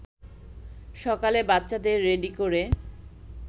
সকালে বাচ্চাদের রেডি করে